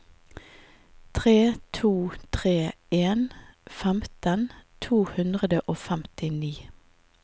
tre to tre en femten to hundre og femtini